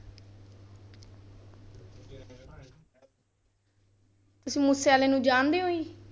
ਤੁਸੀਂ ਮੂਸੇ ਵਾਲੇ ਨੂੰ ਜਾਣਦੇ ਹੋ ਜੀ?